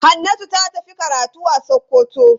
Hannatu ta tafi karatu a Sokoto.